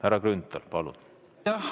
Härra Grünthal, palun!